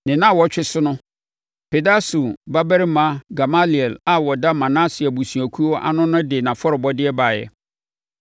Ne nnawɔtwe so no, Pedahsur babarima Gamaliel a ɔda Manase abusuakuo ano no de nʼafɔrebɔdeɛ baeɛ.